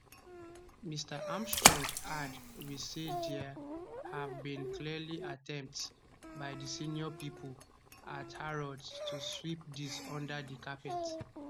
mr armstrong add we say dia have been clearly attempts by di senior pipo at harrods to sweep dis under di carpet